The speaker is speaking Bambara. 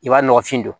I b'a nɔgɔfin don